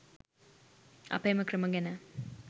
අප එම ක්‍රම ගැන